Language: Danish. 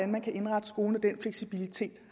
man kan indrette skolen på og den fleksibilitet